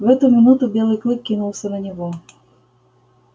в эту минуту белый клык кинулся на него